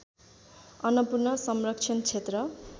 अन्नपूर्ण संरक्षण क्षेत्र